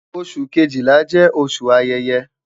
Oṣu kejila jẹ oṣu ayẹyẹ